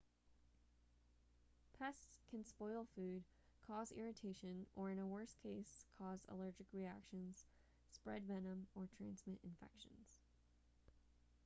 pests can spoil food cause irritation or in a worse case cause allergic reactions spread venom or transmit infections